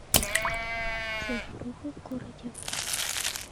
заваруха в городе